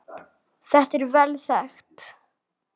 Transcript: Þetta er vel þekkt.